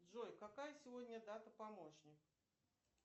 джой какая сегодня дата помощник